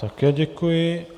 Také děkuji.